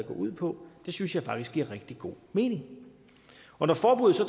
ud på det synes jeg faktisk giver rigtig god mening når forbuddet så